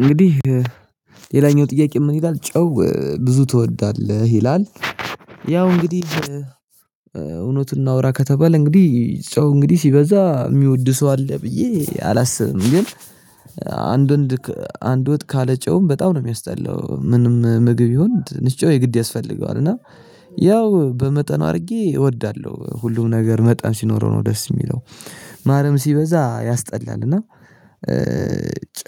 እንግዲህ ሌላኛው ጥያቄ ምን ይላል? ጨው ብዙ ትወዳለህ? ይላል እንግዲህ እውነት እናውራ ከተባለ እንግዲህ ሰው እንግዲህ ሲበዛ የሚወድ ሰው አለ ብዬ አላስብም። ግን አንድ አንድ ወጥ ካለ ጨውም በጣም ነው የሚያስጠላው። ምንም ምግብ ይሁን ትንሽ ጨው የግድ ያስፈልገዋል እና ያው በመጠኑ አሪጌ እወዳለሁ ሁሉም ነገር መጠን ሲኖረው ነው ደስ የሚለው። ማሪያምን ሲበዛ ያስጠላል እና